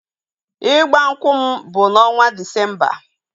Ịgba nkwụ m bụ n'ọnwa Disemba